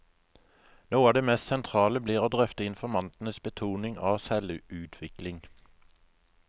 Noe av det mest sentrale blir å drøfte informantenes betoning av selvutvikling.